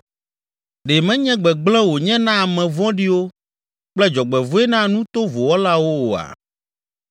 Ɖe menye gbegblẽ wònye na ame vɔ̃ɖiwo kple dzɔgbevɔ̃e na nu tovo wɔlawo oa?